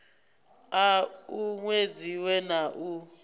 a u uwedziwe na u